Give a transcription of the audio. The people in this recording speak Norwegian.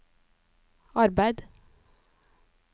arbeid